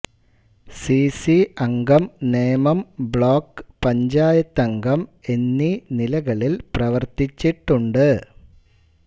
C C അംഗം Nemam block പഞ്ചായത്തംഗം എന്നീ നിലകളിൽ പ്രവർത്തിച്ചിട്ടുണ്ട്